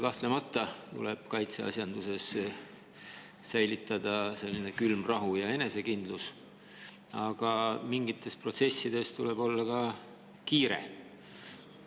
Kahtlemata tuleb kaitseasjanduses säilitada külm rahu ja enesekindlus, aga mingites protsessides tuleb olla ka kiire.